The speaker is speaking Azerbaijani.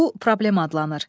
Bu problem adlanır.